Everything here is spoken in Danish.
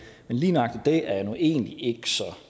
men lige nøjagtig det er jeg nu egentlig ikke så